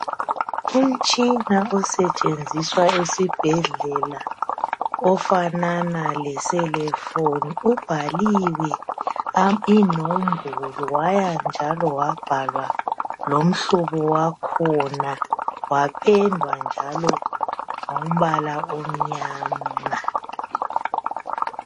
Umtshina osetshenziswa esibhedlela ofanana lomakhalekhukhwini ubhaliwe inombolo wabhalwa njalo lomhlobo wakhona wapendwa ngombala omnyama.